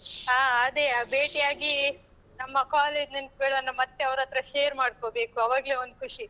ಹಾ, ಅದೇ ಆ ಭೇಟಿಯಾಗಿ ನಮ್ಮ college ನೆನ್ಪುಗಳೆಲ್ಲ ಮತ್ತೆ ಅವರತ್ರ share ಮಾಡ್ಕೋಬೇಕು ಆವಾಗ್ಲೇ ಒಂದ್ ಖುಷಿ.